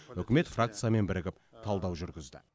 үкімет фракциямен бірігіп талдау жүргізді